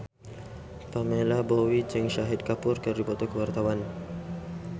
Pamela Bowie jeung Shahid Kapoor keur dipoto ku wartawan